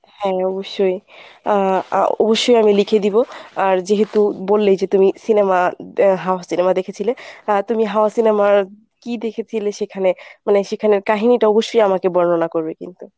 হ্যাঁ অবশ্যই আহ অবশ্যই আমি লিখে দিব আর যেহেতু বললেই যে তুমি cinema এর হাওয়া cinema দেখেছিলে আহ তুমি হাওয়া cinemaর কী দেখেছিলে সেখানে সেখানের কাহিনিটা অবশ্যই আমাকে বর্ণনা করবে কিন্তু